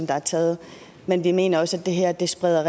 er taget men vi mener også at det her spreder